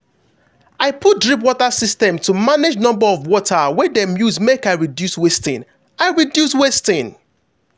i put drip water system to manage number of water wey dem use make i reduce wasting. i reduce wasting.